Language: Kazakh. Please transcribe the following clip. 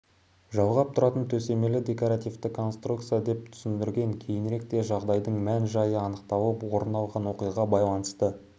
жалғап тұратын төсемелі декоративті конструкция деп түсіндірген кейініректе жағдайдың мән-жайы анықталып орын алған оқиғаға байланысты